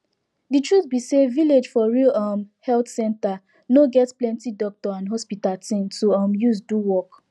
de truth be say village for real um health center no get plenti doctor and hospital thing to um use do work